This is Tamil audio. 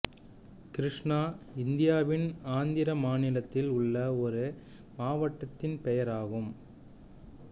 கிருஷ்ணா இந்தியாவின் ஆந்திர மாநிலத்தில் உள்ள ஒரு மாவட்டத்தின் பெயர் ஆகும்